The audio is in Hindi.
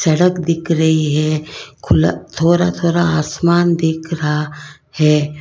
सड़क दिख रही है खुला थोड़ा थोड़ा आसमान दिख रहा है।